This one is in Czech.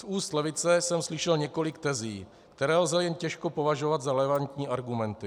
Z úst levice jsem slyšel několik tezí, které lze jen těžko považovat za relevantní argumenty.